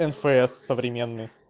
нфс современный